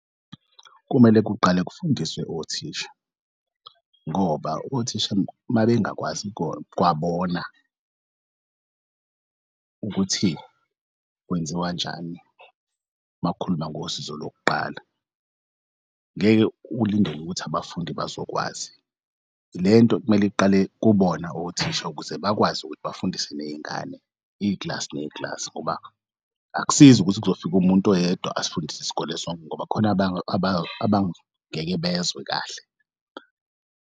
Kumele kuqale kufundiswe othisha ngoba othisha mabengakwazi kwabona ukuthi kwenziwanjani makukhuluma ngosizo lokuqala, ngeke ulindele ukuthi abafundi bazokwazi. Lento kumele iqale kubona othisha ukuze bakwazi ukuthi bafundise ney'ngane iklasi neklasi ngoba akusizi ukuthi kuzofika umuntu oyedwa asifundise isikole sonke ngoba kukhona abangeke bezwe kahle.